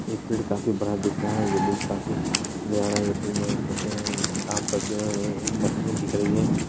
ये फील्ड काफी बड़ा दिख रहा है ये फील्ड काफी है ये पेड़ में कुछ काम करते हुऐ मशीने दिख रहीं है।